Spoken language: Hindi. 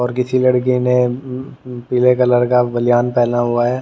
और किसी लड़की ने पीले कलर का बलियान पहना हुआ है।